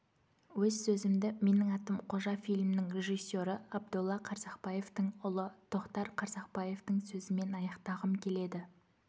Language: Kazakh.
өз сөзімді менің атым қожа фильмінің режиссері абдолла қарсақбаевтың ұлы тоқтар қарсақбаевтің сөзімен аяқтағым келеді